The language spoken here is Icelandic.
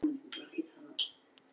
Og Bóas.